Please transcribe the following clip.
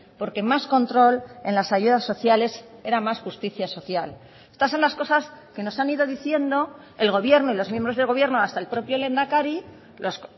porque más control en las ayudas sociales era más justicia social estas son las cosas que nos han ido diciendo el gobierno y los miembros del gobierno hasta el propio lehendakari los